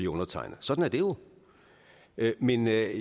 undertegnet sådan er det jo men jeg